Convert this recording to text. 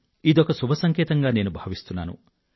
ఇదొక శుభ సంకేతంగా నేను భావిస్తున్నాను